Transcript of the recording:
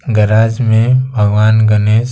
garage में भगवान गणेश--